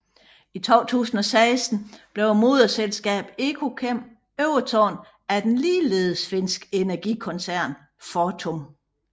I 2016 blev moderselskabet Ekokem overtaget af den ligeledes finske energikoncern Fortum